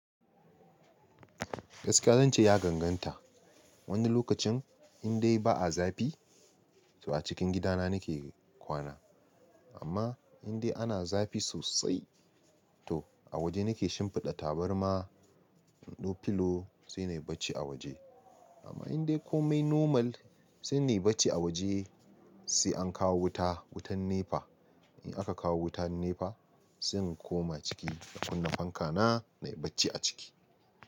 Gaskiya zan ce ya ganganta. Wani lokacin indai ba a zafi, to a cikin gidana nake kwana. Amma indai ana zafi sosai, to a waje nake shimfiɗa tabarma, da filo sai na yi bacci a waje. Amma indai komai normal, sai na yi bacci a waje sai an kawo wuta, wutan NEPA. In aka kawo wutan NEPA, sai in koma ciki, na kunna fanka na, na yi bacci a ciki.